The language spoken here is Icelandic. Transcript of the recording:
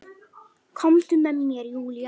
Komdu með mér Júlía.